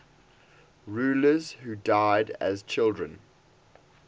rulers who died as children